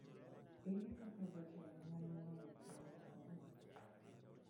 Ere kaka jotelo nyalo loyo tuo mar corona?